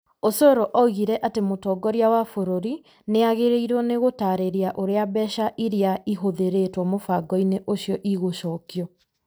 Osoro oigire atĩ mũtongoria wa bũrũri nĩ agĩrĩirwo nĩ gũtaarĩria ũrĩa mbeca iria ihũthĩrĩtwo mũbango-inĩ ũcio igũcokio,